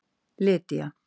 Lydía